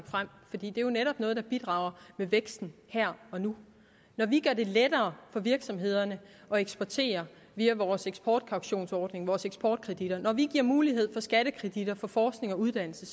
frem fordi det jo netop er noget der bidrager til væksten her og nu når vi gør det lettere for virksomhederne at eksportere via vores eksportkautionsordning vores eksportkreditter og vi giver mulighed for skattekreditter for forskning og uddannelse